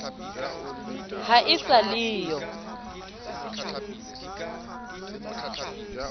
ha e sa le yo